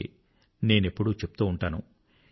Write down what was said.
అందుకే నేనెప్పుడూ చెప్తూ ఉంటాను